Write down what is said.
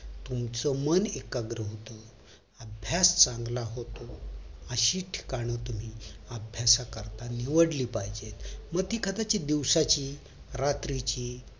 तुमचं मन एकाग्र होत अभ्यास चांगला होतो अशी ठिकाण तुम्ही अभ्यासा करता निवडली पाहिजेत मग ती कदाचित दिवसाची रात्रीची